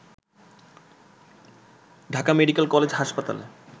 Dhaka Medical College হাসপাতালে